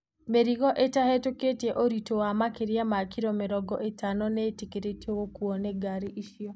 Mĩrigo ĩtavĩtuktieũritũ wa makĩria ma kilo mĩrongo ĩtano nĩĩtĩkĩrĩtio gukuo nĩ ngari icio